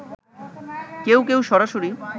কেউ কেউ সরাসরি